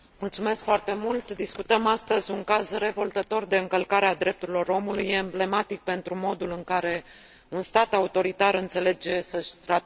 Discutăm astăzi un caz revoltător de încălcare a drepturilor omului, emblematic pentru modul în care un stat autoritar înțelege să și trateze cetățenii.